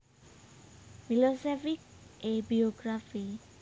Milosevic A Biography